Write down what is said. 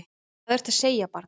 Hvað ertu að segja barn?